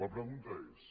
la pregunta és